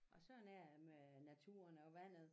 Og sådan er det med naturen og vandet